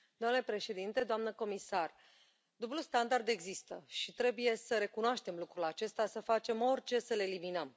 Domnule președinte, doamnă comisar, dublul standard există și trebuie să recunoaștem lucrul acesta, să facem orice să îl eliminăm.